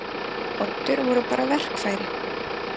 Oddur voru bara verkfæri.